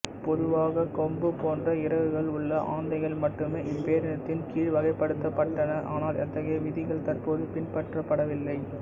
பொதுவாக கொம்பு போன்ற இறகுகள் உள்ள ஆந்தைகள் மட்டுமே இப்பேரினத்தின் கீழ் வகைப்படுத்தப்பட்டன ஆனால் அத்தகைய விதிகள் தற்போது பின்பற்றப்படுவதில்லை